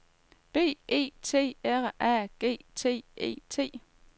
B E T R A G T E T